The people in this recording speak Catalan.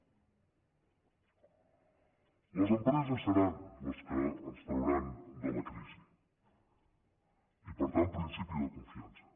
les empreses seran les que ens trauran de la crisi i per tant principi de confiança